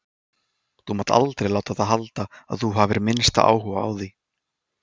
Þú mátt aldrei láta það halda að þú hafir minnsta áhuga á því.